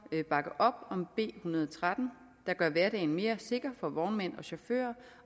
bakke op om en hundrede og tretten der gør hverdagen mere sikker for vognmænd og chauffører